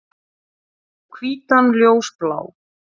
Og hvítan ljósblá.